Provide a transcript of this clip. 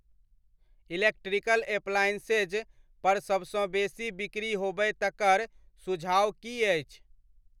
Electrical appliances पर सबसँ बेसी बिकरी होबय तकर सुझाओ की अछि ?